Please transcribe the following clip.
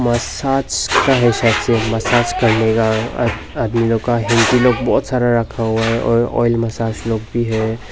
Massage का है शायद से मसाज करने का आद आदमी लोग का हैंकी लोग बहुत सारा रखा हुआ है और ऑयल मसाज लोग भी है।